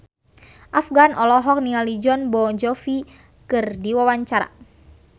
Afgan olohok ningali Jon Bon Jovi keur diwawancara